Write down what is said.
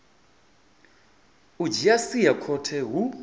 u dzhia sia khothe hu